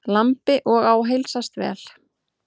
Lambi og á heilsast vel.